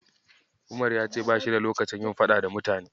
Umar ya ce bashi da lokacin yin faɗa da mutane.